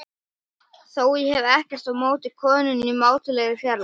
Þó hef ég ekkert á móti konunni í mátulegri fjarlægð.